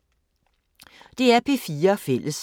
DR P4 Fælles